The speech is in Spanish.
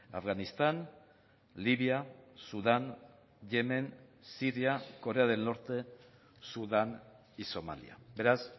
afganistán libia sudán yemen siria corea del norte sudán y somalia beraz